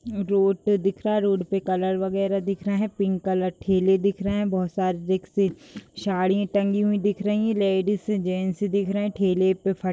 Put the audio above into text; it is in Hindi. रोड पे दिख रहा है | रोड पे कलर बगैैरह दिख रहे हैं | पिंक कलर ठेले दिख रहे हैं | बोहत सारे रिक्‍शे साड़ी टगीं हुई दिख रही है | लेडीज़ जेन्‍ट्स दिख रहे हैं | ठेले पे फट --